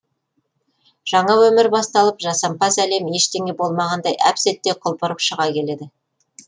жаңа өмір басталып жасампаз әлем ештеңе болмағандай әп сәтте құлпырып шыға келеді